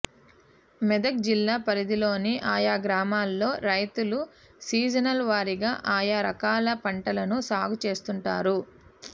మెదక్ జిల్లా పరిధిలోని ఆయా గ్రామాల్లో రైతులు సీజనల్ వారీగా ఆయా రకాల పంటలను సాగు చేస్తుంటారు